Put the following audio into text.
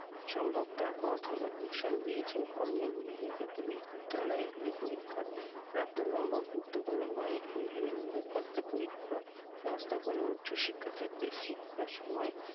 সম্ভব তার পথ ও নির্দেশনা দিয়েছেন কর্মী নিয়োগের ক্ষেত্রে বিশ্ববিদ্যালয় গুলি পরীক্ষার প্রাপ্ত number গুরুত্বপূর্ণ নয় এই ভেবে নিয়োগকর্তা পরীক্ষা ব্যবস্থা করবে উচ্চ শিক্ষা ক্ষেত্রে শিক্ষার সময়,